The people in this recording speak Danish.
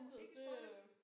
Ikke spoile